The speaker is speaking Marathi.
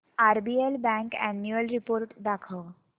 आरबीएल बँक अॅन्युअल रिपोर्ट दाखव